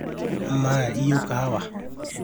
amaa iyieu kahawa?